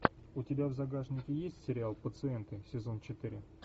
у тебя в загашнике есть сериал пациенты сезон четыре